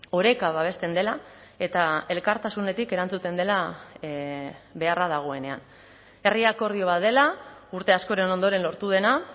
oreka babesten dela eta elkartasunetik erantzuten dela beharra dagoenean herri akordio bat dela urte askoren ondoren lortu dena